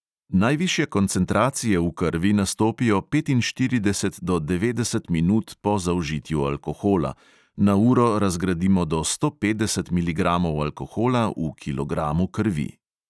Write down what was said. Najvišje koncentracije v krvi nastopijo petinštirideset do devetdeset minut po zaužitju alkohola, na uro razgradimo do sto petdeset miligramov alkohola v kilogramu krvi.